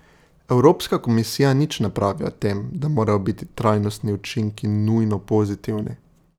Evropska komisija nič ne pravi o tem, da morajo biti trajnostni učinki nujno pozitivni.